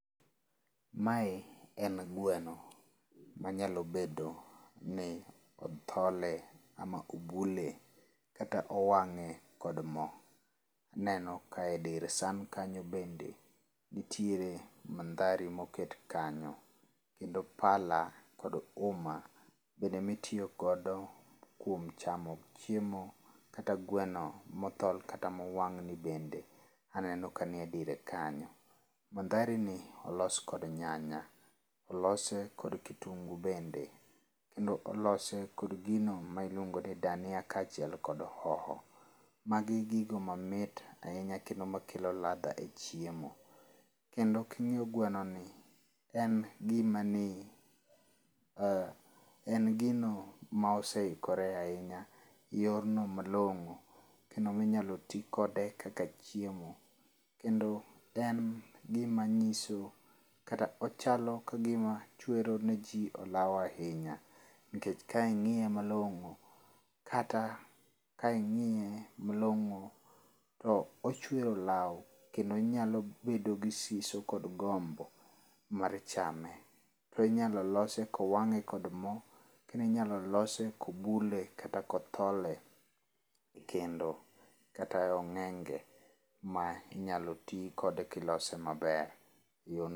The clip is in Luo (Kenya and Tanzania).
Mae en gweno manyalo bedo ni othole ama obule kata owang'e kod mo. Aneno ka edir san kanyo bende nitiere mandhari moket kanyo kendo pala kod uma bende mitiyo godo kuom chamo chiemo kata gweno mothol kata mowang' ni bende aneno kaniedire kanyo. Mandharini olos kod nyanya. Olose kod kitungu bende kendo olose kod gino ma iluongo ni dania kaachiel kod hoho. Magi gigo mamit ahinya kendo makelo ladha e chiemo. Kendo king'iyo gwenoni en gima ne o en gino ma oseikore ahinya, eyorno malong'o kendo minyalo ti kode kaka chiemo. Kendo en gima nyiso kata ochalo kagima chwero niji olaw ahinya. Nikech kang'iye malong'o kata kang'iye malong'o to ochwero olawo kendo inyalo bedo gi siso kod gombo mar chame. To inyalo lose kowang'e kod mo kendo inyalo lose kobule kata kothole ekendo kata ong'enge ma inyalo ti kode kilose maber